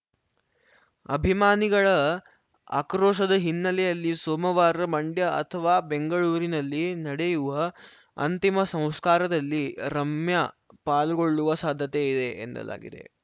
ಅಭಿಮಾನಿಗಳ ಆಕ್ರೋಶದ ಹಿನ್ನೆಲೆಯಲ್ಲಿ ಸೋಮವಾರ ಮಂಡ್ಯ ಅಥವಾ ಬೆಂಗಳೂರಿನಲ್ಲಿ ನಡೆಯುವ ಅಂತಿಮ ಸಂಸ್ಕಾರದಲ್ಲಿ ರಮ್ಯಾ ಪಾಲ್ಗೊಳ್ಳುವ ಸಾಧ್ಯತೆ ಇದೆ ಎನ್ನಲಾಗಿದೆ